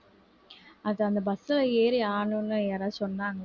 அது அந்த bus ல ஏறி ஆடணும்னு யாராவது சொன்னாங்களா